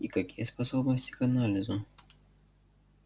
и какие способности к анализу